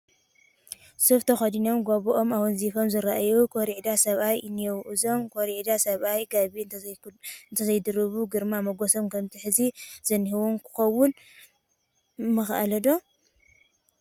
ሱፍ ተኸዲኖ፣ ጋቢኦም ኣወንዚፎም ዝርአዩ ኮርዒዳ ሰብኣይ እኔዉ፡፡ እዞም ኮርዒዳ ሰብኣይ ጋቢ እንተዘይድርቡ ግርማ ሞገሶም ከምቲ ሕዚ ዝኔዉዎ ክኸውን ምኸኣለ ዶ?